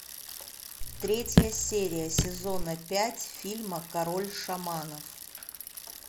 третья серия сезона пять фильма король шаманов